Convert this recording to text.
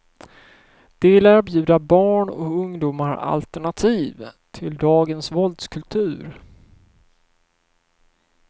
De vill erbjuda barn och ungdomar alternativ till dagens våldskultur.